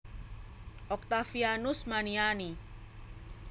Oktavianus Maniani